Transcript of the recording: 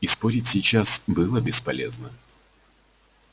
и спорить сейчас было бесполезно